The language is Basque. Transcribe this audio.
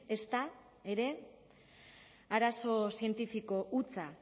ezta ere arazo zientifiko hutsa